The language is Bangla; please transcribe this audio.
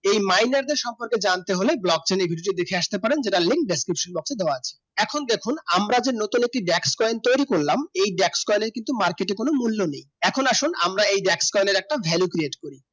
এই মাইনার দেড় সম্পর্ক জানতে হলে block দেখে আসতে পারো link description box দেওয়া আছে এখন দেখুন আমরা যে backs point তৈরি করলাম এই backs point এর market এই মূল নেই এখন আসুন এই backs point ভ্যালু ক্রিয়েট করি